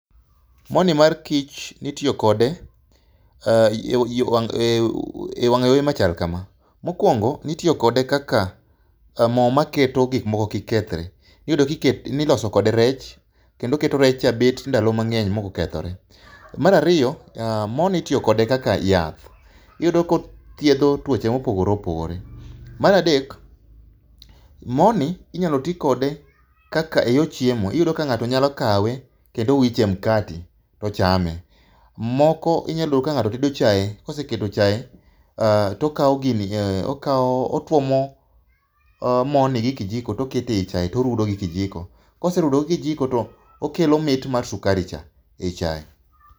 Morni mar kich itiyo kode wang'ayore machalo kama. Mokuongo ne itiyo kode kaka mo maketo gik moko kik kethre. Iyudo ka ne iloso kode rech kendo oketo rech bedo ndalo mang'eny maok okethore. Mar ariyo mor ni itiyo kode kaka yath. Iyudo kothiedho tuoche mopogore opogore. Mar adek morni inyalo ti kode kaka eyor chiemo. Iyudo ka ng'ato nyalo kawe kendo owicho e mkati to chame. Moko inyalo yudo ka ng'ato tedo chae to ka osee tedo chae to okawo gini to otuomo morni gi kijiko to oketo e chae to orudo gi kijiko. Ka oserudo gi kijiko to okelo mit mar sukari cha e chae